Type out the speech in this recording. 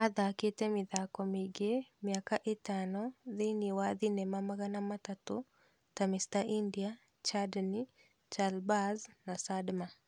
Athakĩte mĩthako miingĩ mĩaka itano thĩini ya thinema magana atatũ, ta Mr India, Chandni, ChaalBaaz na Sadma